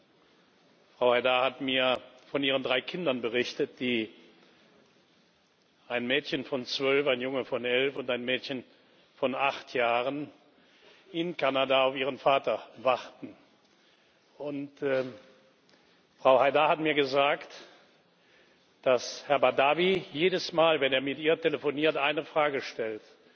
Frau Haidar hat mir von ihren drei Kindern berichtet ein Mädchen von zwölf, ein Junge von elf und ein Mädchen von acht Jahren die in Kanada auf ihren Vater warten. Frau Haidar hat mir gesagt, dass Herr Badawi jedes Mal, wenn er mit ihr telefoniert, eine Frage stellt